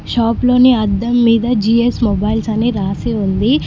షాపులోని అద్దం మీద G S mobiles అని రాసి ఉంది.